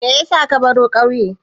Me yasa ka baro ƙauye?